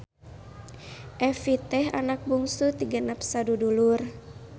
Evie teh anak bungsu ti genep sadudulur.